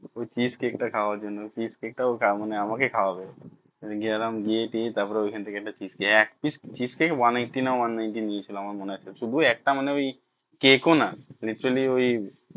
ওই fish cake টা খাওয়ার জন্য fish cake টা ওটা মানে আমাকেই খাওয়াবে গেলাম গিয়ে টিয়ে তারপর ওখান থেকে শুদু একটা মানে ওই cake ও না literally ওই